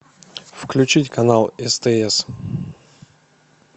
включить канал стс